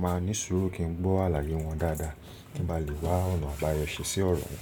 màá ní ṣùúrù kí n gbọ́ àlàyé wọn dáadáa kí ń bá lè wá ọ̀nà àbáyọ ṣe ṣí ọ̀rọ̀ wọn.